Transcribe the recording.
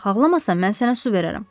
Bax ağlamasan mən sənə su verərəm.